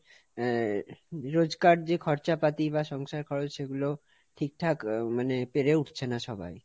আহ রোজকার যে খরচাপাতি বা সংসার খরচ সেগুলো ঠিকঠাক মানে পেরে উঠছে না সবাই।